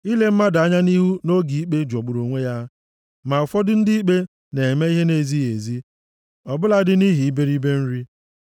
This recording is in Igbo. Ile mmadụ anya nʼihu nʼoge ikpe jọgburu onwe ya. Ma ụfọdụ ndị ikpe na-eme ihe na-ezighị ezi, ọ bụladị, nʼihi iberibe nri.